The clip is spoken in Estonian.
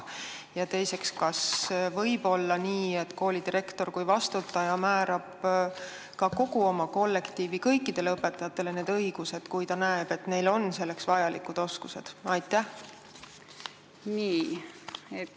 Ja teiseks, kas võib olla nii, et koolidirektor kui vastutaja määrab kogu oma kollektiivi kõikidele õpetajatele need õigused, kui ta näeb, et neil on selleks vajalikud oskused?